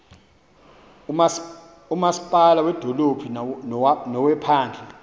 umasipala wedolophu nowephandle